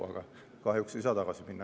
Aga kahjuks ei saa tagasi minna.